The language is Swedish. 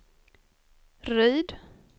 Ryd